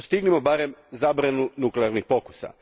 Postignimo barem zabranu nuklearnih pokusa.